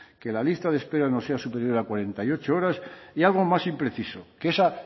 que la lista de espera no sea superior a cuarenta y ocho horas y algo más impreciso que esa